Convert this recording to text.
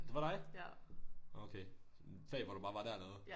Det var dig nåh okay sådan et fag hvor du bare var der eller hvad